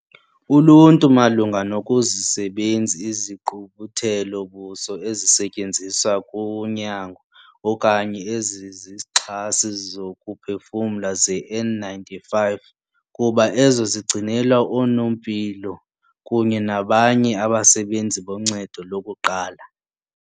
Uluntu malunga nokuzisebenzi izigqubuthelo-buso ezisetyenziswa kuqhaqho, kunyango, okanye ezezixhasi zokuphefumla ze-N-95 kuba ezo zigcinelwa oonompilo kunye nabanye abasebenzi boncedo lokuqala.